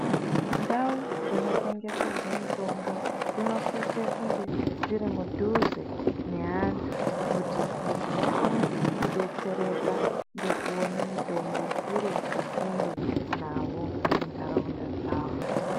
Ndau dzinotengeserwa mutombo dzinosise kunge dzirimudhuze neandu kuti vantu vakone kubetsereka ngekuone mutombo iripasinde navo mundaraunda dzavo.